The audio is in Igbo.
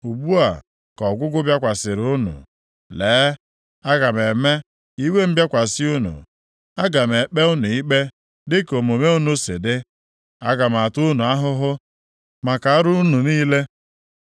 Ugbu a ka ọgwụgwụ bịakwasịrị unu. Lee, aga m eme ka iwe m bịakwasị unu; aga m ekpe unu ikpe dịka omume unu si dị, aga m ata unu ahụhụ maka arụ unu niile.